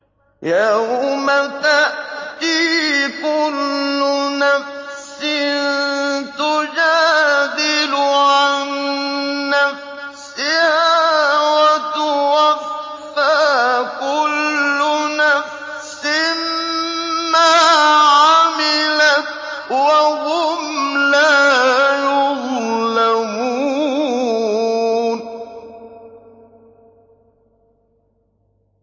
۞ يَوْمَ تَأْتِي كُلُّ نَفْسٍ تُجَادِلُ عَن نَّفْسِهَا وَتُوَفَّىٰ كُلُّ نَفْسٍ مَّا عَمِلَتْ وَهُمْ لَا يُظْلَمُونَ